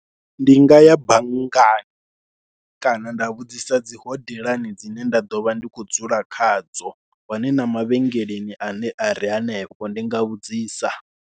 Ndi nga ya banngani kana nda vhudzisa dzi hodelani dzine nda ḓo vha ndi khou dzula khadzo, hone na mavhengeleni ane a ri. a re hanefho, ndi nga vhudzisa.